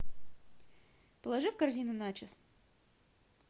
положи в корзину начос